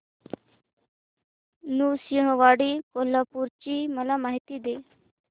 नृसिंहवाडी कोल्हापूर ची मला माहिती दे